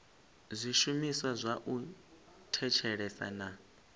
zwishumiswa zwa u thetshelesa na